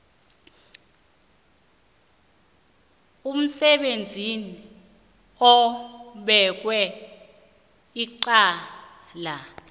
umsebenzi obekwe icala